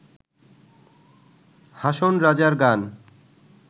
হাসন রাজার গান